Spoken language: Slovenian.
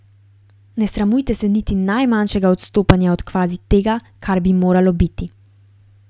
Ne sramujte se niti najmanjšega odstopanja od kvazi tega, kar bi moralo biti.